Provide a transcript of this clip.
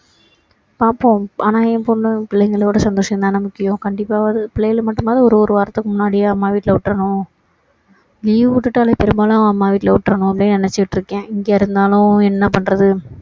பார்ப்போம் ஆனா என் பொண்ணு பிள்ளைங்களோட சந்தோஷம் தான முக்கியம் கண்டிப்பா பிள்ளைங்கள மட்டுமாவது ஒரு ஒரு வாரத்துக்கு முன்னாடியே அம்மா வீட்டுல விட்டுடணும் leave விட்டுட்டாலே பெரும்பாலும் அம்மா வீட்டுல விட்டுடணும் அப்படின்னு நினைச்சிட்டு இருக்கேன் இங்க இருந்தாலும் என்ன பண்றது